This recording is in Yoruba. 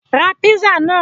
Ra písà náà!